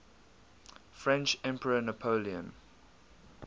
french emperor napoleon